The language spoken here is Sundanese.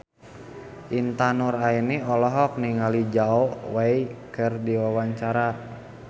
Intan Nuraini olohok ningali Zhao Wei keur diwawancara